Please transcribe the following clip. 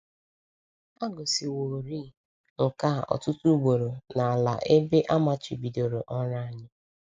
A gosiworị nke a ọtụtụ ugboro n’ala ebe a a machibidoro ọrụ anyị.